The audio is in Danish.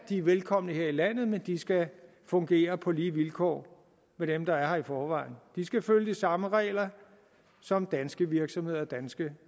er velkomne her i landet men de skal fungere på lige vilkår med dem der er her i forvejen de skal følge de samme regler som danske virksomheder og danske